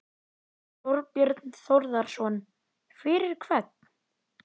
Þorbjörn Þórðarson: Fyrir hvern?